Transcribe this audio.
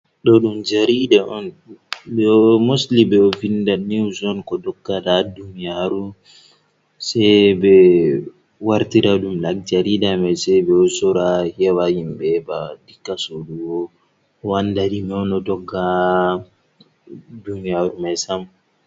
Ɗo ɗum jarida on mostili ɓe ɗo vinda newz on ko doggada ha duniyaru, sai ɓe wartira ɗum dan jarida mai sai ɓe ɗo sora heɓa himɓɓe heɓa dinga sodugo oanda dime on dogga ha duniyaru mai sam